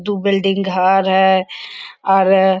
दो बिल्डिंग घर है और--